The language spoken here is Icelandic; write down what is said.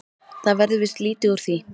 Það verður víst lítið úr því.